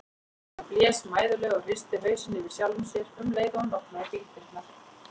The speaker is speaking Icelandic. Hann blés mæðulega og hristi hausinn yfir sjálfum sér um leið og hann opnaði bíldyrnar.